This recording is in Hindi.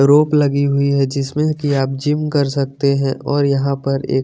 रोप लगी हुई है जिसमे की आप जिम कर सकते है और यहाँ पर एक--